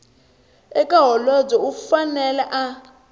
eka holobye u fanele a